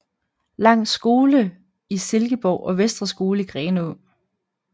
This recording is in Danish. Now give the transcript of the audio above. Langs Skole i Silkeborg og Vestre Skole i Grenaa